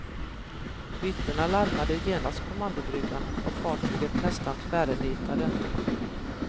Vittnena larmade genast kommandobryggan och fartyget nästan tvärnitade.